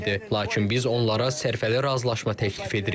Lakin biz onlara sərfəli razılaşma təklif edirik.